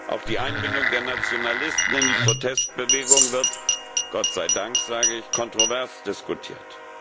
Auch die Einbindung der Nationalisten in die Protestbewegung wird Gott sei Dank sage ich kontrovers diskutiert.